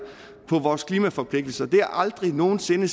på vores klimaforpligtelser det er aldrig nogen sinde